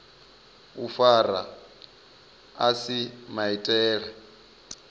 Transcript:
u fara a si maitele